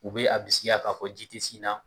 U bɛ a bisikiya k'a fɔ ji tɛ sin na.